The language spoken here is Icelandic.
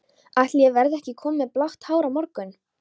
Ætli ég verði ekki kominn með blátt hár á morgun.